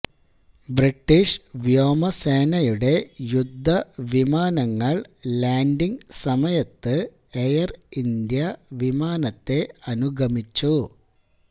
British വ്യോമസേനയുടെ യുദ്ധ വിമാനങ്ങള് ലാന്ഡിങ് സമയത്ത് എയര് ഇന്ത്യ വിമാനത്തെ അനുഗമിച്ചു